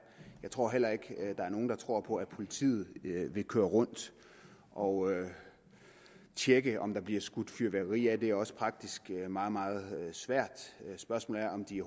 jeg tror heller ikke at der er nogen der tror på at politiet vil kører rundt og tjekke om der bliver skudt fyrværkeri af det er også praktisk meget meget svært og spørgsmålet er om de